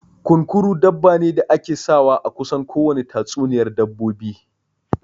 Kunkuru dabba ne da ake sawa a kusan kowane tatsuniyar dabbobi